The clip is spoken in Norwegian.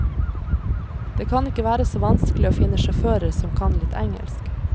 Det kan ikke være så vanskelig å finne sjåfører som kan litt engelsk.